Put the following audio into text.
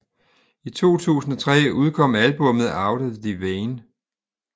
I 2003 udkom albummet Out of the Vein